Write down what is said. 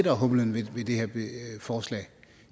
er humlen ved det her forslag